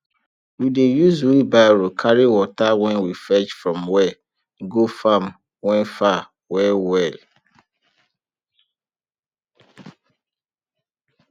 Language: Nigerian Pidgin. we dey use wheelbarrow carry water wen we fetch from well go farm wen far well well